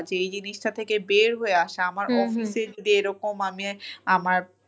যে এই জিনিসটা থেকে বের হয়ে আসা আমার office -এ যদি এরকম আমি আমার